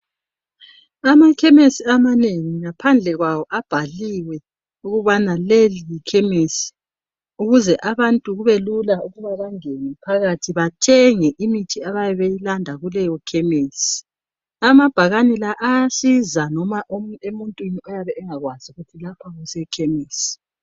Amakhemisi amanengi ngaphandle kwawo abhaliwe ukubana leli yikhemisi ukuze abantu kube lula ukubana bangene phakathi bathenge imithi abayabe beyilanda kuleyo khemisi. Amabhakani lawa ayasiza noma emuntwini oyabe engakwazi ukuthi lapha kusekhemisi.